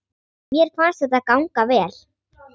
Mér fannst þetta ganga vel.